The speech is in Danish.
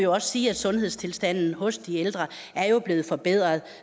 også sige at sundhedstilstanden hos de ældre er blevet forbedret